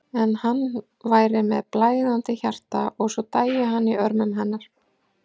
En hann væri með blæðandi hjarta og svo dæi hann í örmum hennar.